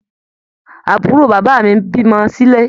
Àbúrò bàbá mí bímọ silé.